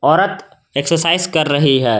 औरत एक्सरसाइज कर रही है।